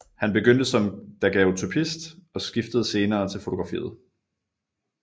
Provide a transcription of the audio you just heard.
Han begyndte som daguerreotypist og skiftede senere til fotografiet